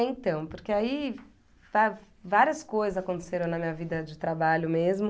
É, então, porque aí va várias coisas aconteceram na minha vida de trabalho mesmo.